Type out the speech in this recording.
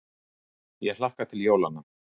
Ég hlakka til jólanna.